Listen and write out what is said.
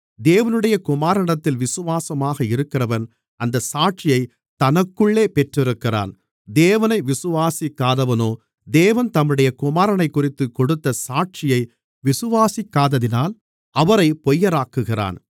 தேவனுடைய குமாரனிடத்தில் விசுவாசமாக இருக்கிறவன் அந்தச் சாட்சியைத் தனக்குள்ளே பெற்றிருக்கிறான் தேவனை விசுவாசிக்காதவனோ தேவன் தம்முடைய குமாரனைக்குறித்துக் கொடுத்த சாட்சியை விசுவாசிக்காததினால் அவரைப் பொய்யராக்குகிறான்